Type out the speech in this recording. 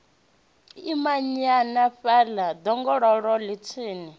imanyana fhaḽa ḓongololo ḽe thenu